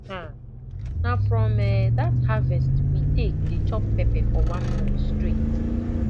um na from um that harvest we take dey chop pepper for one month straight